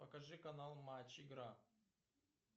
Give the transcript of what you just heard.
покажи канал матч игра